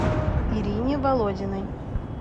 ирине володиной